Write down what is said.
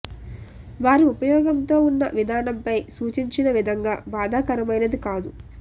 వారి ఉపయోగంతో ఉన్న విధానం పై సూచించిన విధంగా బాధాకరమైనది కాదు